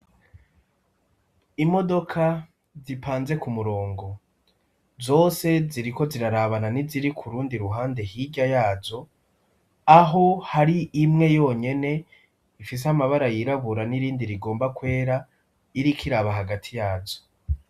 Imodoka zipanze ku murongo, zose ziriko zirarabana niziri kurundi ruhande hirya yazo, aho hari imwe yonyene ifise amabara yirabura n'irindi rigomba kwera iriko iraba hagati yazo.